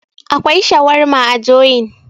akwai shawarma joyin